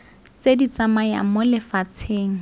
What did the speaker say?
tse di tsamayang mo lefatsheng